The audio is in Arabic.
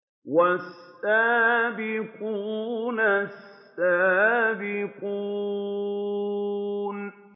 وَالسَّابِقُونَ السَّابِقُونَ